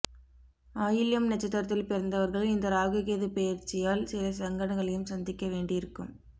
ஆயில்யம் நட்சத்திரத்தில் பிறந்தவர்கள் இந்த ராகு கேது பெயர்ச்சியால் சில சங்கடங்களையும் சந்திக்க வேண்டியிருக்கும்